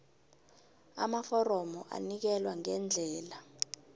amaforomo anikelwa ngendlela